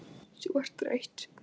Þú ert þreytt.